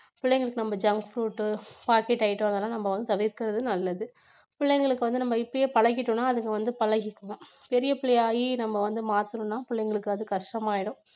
பிள்ளைங்களுக்கு நம்ம junk food, packet item அதெல்லாம் நம்ம வந்து தவிர்க்கிறது நல்லது, பிள்ளைங்களுக்கு வந்து நம்ம இப்பயே பழகிட்டோம்னா அதுங்க வந்து பழகிக்கும் பெரிய பிள்ளை ஆகி நம்ம வந்து மாத்தனோம்னா பிள்ளைங்களுக்கு அது கஷ்டமாயிடும்.